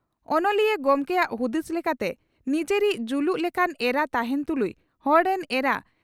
ᱚᱱᱚᱞᱤᱭᱟᱹ ᱜᱚᱢᱠᱮᱭᱟᱜ ᱦᱩᱫᱤᱥ ᱞᱮᱠᱟᱛᱮ ᱺ ᱱᱤᱡᱚᱨᱤᱡ ᱡᱩᱞᱩᱜ ᱞᱮᱠᱟᱱ ᱮᱨᱟ ᱛᱟᱦᱮᱸᱱ ᱛᱩᱞᱩᱡ ᱦᱚᱲ ᱨᱮᱱ ᱮᱨᱟ